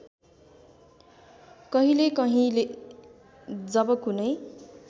कहिलेकहिले जब कुनै